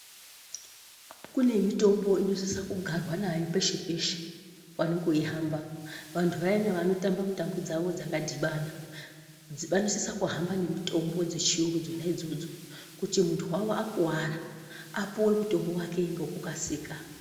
Kune mitombo inosise kugarwa nayo peshe peshe pane kuihamba, vantu vaya vanohamba mitambo dzavo dzakadhibana vanosise kuhamba nemitombo dzechirungu dzona dzodzo kuti muntu wavo akuvara apiwe mutombo wake ngekukasika.